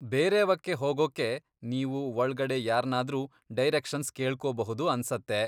ಬೇರೇವಕ್ಕೆ ಹೋಗೋಕೆ ನೀವು ಒಳ್ಗಡೆ ಯಾರ್ನಾದ್ರೂ ಡೈರೆಕ್ಷನ್ಸ್ ಕೇಳ್ಕೋಬಹುದು ಅನ್ಸತ್ತೆ.